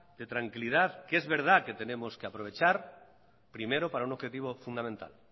de tranquilidad que es verdad que tenemos que aprovechar primero para un objetivo fundamental